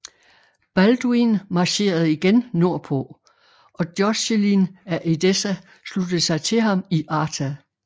Balduin marcherede igen nordpå og Joscelin af Edessa sluttede sig til ham i Artah